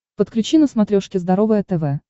подключи на смотрешке здоровое тв